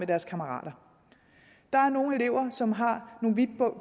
deres kammerater der er nogle elever som har